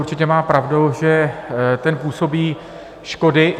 Určitě má pravdu, že ten působí škody.